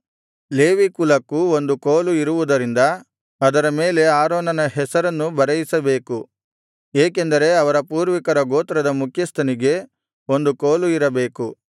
Levi ಕುಲಕ್ಕೂ ಒಂದು ಕೋಲು ಇರುವುದರಿಂದ ಅದರ ಮೇಲೆ ಆರೋನನ ಹೆಸರನ್ನು ಬರೆಯಿಸಬೇಕು ಏಕೆಂದರೆ ಅವರ ಪೂರ್ವಿಕರ ಗೋತ್ರದ ಮುಖ್ಯಸ್ಥನಿಗೆ ಒಂದು ಕೋಲು ಇರಬೇಕು